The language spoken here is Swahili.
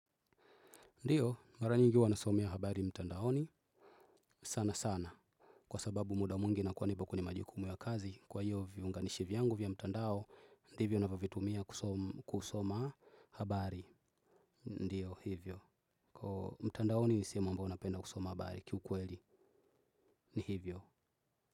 Ndiyo, mara nyingi huwa nasomea habari mtandaoni sana sana. Kwa sababu muda mwingi nakuwa nipo kwenye majukumu ya kazi, kwa hiyo viunganishi vyangu vya mtandao, ndivyo na vovitumia kusoma habari. Ndiyo, hivyo. Kwa mtandaoni nisehemu ambayo unapenda kusoma habari kiukweli, ni hivyo.